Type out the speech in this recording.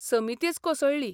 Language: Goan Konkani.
समितीच कोसळ्ळी.